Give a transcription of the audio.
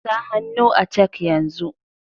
Sa hannu a cak yanzu.